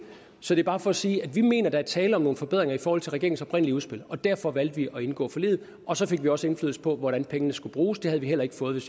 så det er bare for at sige at vi mener der er tale om nogle forbedringer i forhold til regeringens oprindelige udspil og derfor valgte vi at indgå forliget og så fik vi også indflydelse på hvordan pengene skulle bruges det havde vi heller ikke fået